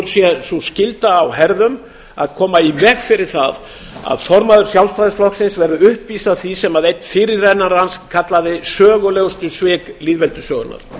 sé sú skylda á herðum að koma í veg fyrir það að formaður sjálfstæðisflokksins verði uppvís að því sem einn fyrirrennari hans kallaði sögulegustu svik lýðveldissögunnar